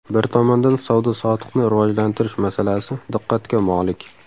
Bir tomondan, savdo-sotiqni rivojlantirish masalasi diqqatga molik.